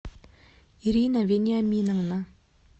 ирина вениаминовна